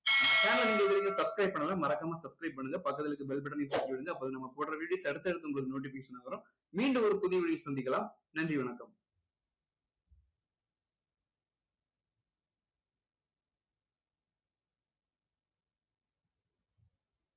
channel ல இது வரைக்கும் subscribe பண்ணலைன்னா மறக்காம subscribe பண்ணுங்க பக்கத்துல இருக்க bell button னையும் தட்டி விடுங்க அப்போதான் நம்ம போடுற videos உங்களுக்கு notification அ வரும் மீண்டும் ஒரு புதிய video ல சந்திக்கலாம். நன்றி. வணக்கம்.